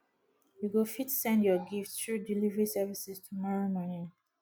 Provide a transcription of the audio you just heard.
you go fit send your gifts through delivery services tomorrow morning